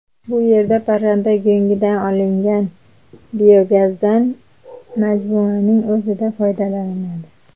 Bu yerda parranda go‘ngidan olingan biogazdan majmuaning o‘zida foydalaniladi.